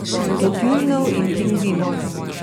Do tjulnjev in pingvinov.